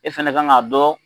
E fɛnɛ k'an ka dɔn.